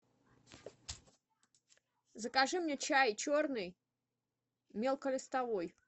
закажи мне чай черный мелколистовой